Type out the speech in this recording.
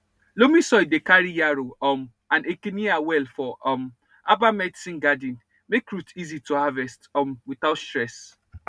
loamy soil dey carry yarrow um and echinacea well for um herbal medicine garden make root easy to harvest um without stress